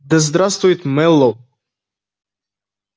да здравствует мэллоу